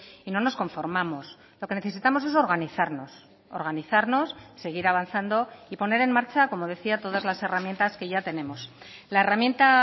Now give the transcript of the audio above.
y no nos conformamos lo que necesitamos es organizarnos organizarnos seguir avanzando y poner en marcha como decía todas las herramientas que ya tenemos la herramienta